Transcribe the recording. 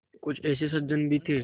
कुछ ऐसे सज्जन भी थे